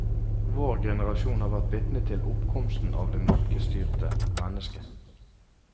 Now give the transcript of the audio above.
Vår generasjon har vært vitne til oppkomsten av det markedsstyrte menneske.